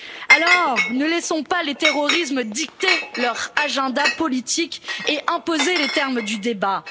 Alors, ne laissons pas les terroristes dicter leur agenda politique et imposer les termes du débat.